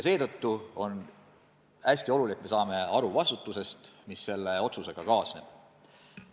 Seetõttu on hästi tähtis, et me saame aru vastutusest, mis selle otsusega kaasneb.